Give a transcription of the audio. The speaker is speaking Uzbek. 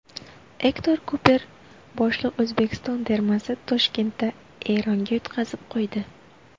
Ektor Kuper boshliq O‘zbekiston termasi Toshkentda Eronga yutqazib qo‘ydi.